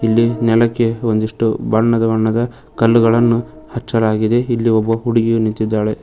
ಇಲ್ಲಿ ನೆಲಕ್ಕೆ ಒಂದಿಷ್ಟು ಬಣ್ಣ ಬಣ್ಣದ ಕಲ್ಲುಗಳನ್ನು ಹಚ್ಚಲಾಗಿದೆ ಇಲ್ಲಿ ಒಬ್ಬ ಹುಡುಗಿಯು ನಿಂತಿದ್ದಾಳೆ.